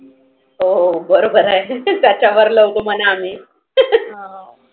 हो हो हो बरोबर आहे. त्याच्या वर लोगोमना आम्ही